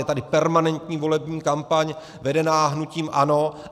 Je tady permanentní volební kampaň vedená hnutím ANO.